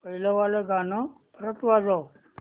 पहिलं वालं गाणं परत वाजव